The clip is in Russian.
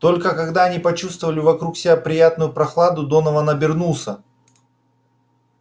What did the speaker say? только когда они почувствовали вокруг себя приятную прохладу донован обернулся